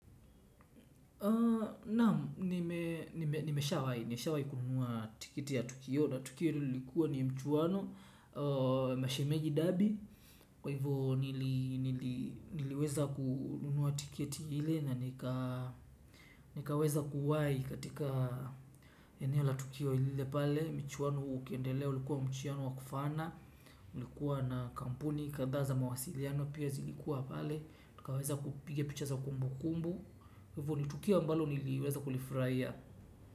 Naam, nimesha wai, nimesha wai kununua tikiti ya tukio na tukio lilikuwa ni mchuwano, mashemeji dabi. Kwa hivyo niliweza kununua tikiti ile nanika nikaweza kuwai katika eneo la tukio lile pale. Michuwano ukiendelea ulikuwa mchuwano wakufana, ulikuwa na kampuni, kandhaa za mawasiliano pia zilikuwa pale. Nikaweza kupiga picha za kumbu kumbu. Hivo nitukio ambalo niliweza kulifurahia.